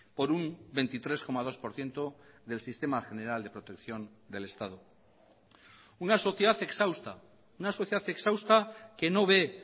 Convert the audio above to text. por un veintitrés coma dos por ciento del sistema general de protección del estado una sociedad exhausta una sociedad exhausta que no ve